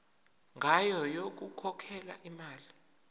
ngayo yokukhokhela imali